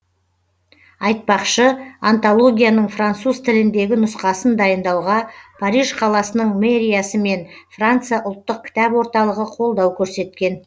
айтпақшы антологияның француз тіліндегі нұсқасын дайындауға париж қаласының мэриясы мен франция ұлттық кітап орталығы қолдау көрсеткен